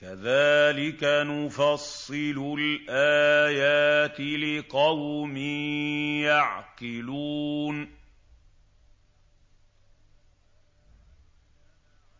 كَذَٰلِكَ نُفَصِّلُ الْآيَاتِ لِقَوْمٍ يَعْقِلُونَ